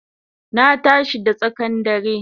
Na tashi da tsakan dare